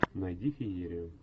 найди феерию